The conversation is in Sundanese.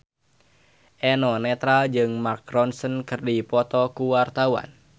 Eno Netral jeung Mark Ronson keur dipoto ku wartawan